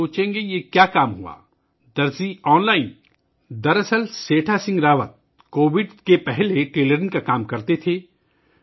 آپ سوچیں گے کہ کیا ہوا، آن لائن درزی!! دراصل سیٹھا سنگھ راوت کووڈ سے پہلے ٹیلرنگ کا کام کرتے تھے